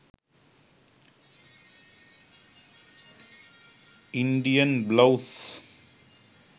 indian blouse